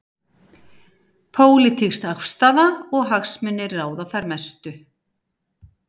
Pólitísk afstaða og hagsmunir ráða þar mestu.